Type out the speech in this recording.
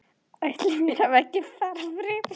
Ætli mér hafi ekki bara brugðið.